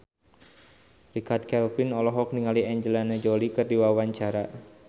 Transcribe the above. Richard Kevin olohok ningali Angelina Jolie keur diwawancara